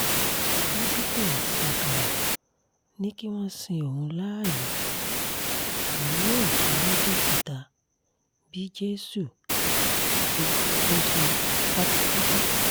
pásítọ̀ ṣákálá ni kí wọ́n sin òun láàyè òun yóò jí lọ́jọ́ kẹta bíi jésù àfi bó ṣe kú pátápátá